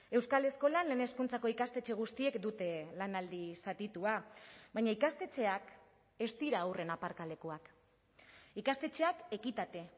euskal eskolan lehen hezkuntzako ikastetxe guztiek dute lanaldi zatitua baina ikastetxeak ez dira haurren aparkalekuak ikastetxeak ekitate